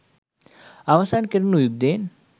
අවසන් කෙරුණු යුද්ධයෙන්